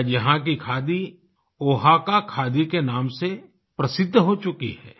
आज यहाँ की खादी ओहाका खादी के नाम से प्रसिद्ध हो चुकी है